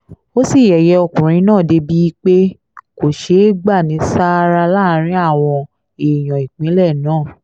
ó sì yẹ̀yẹ́ ọkùnrin náà débìí pé kó ṣe é gbà ní sáárá láàrin àwọn èèyàn ìpínlẹ̀ náà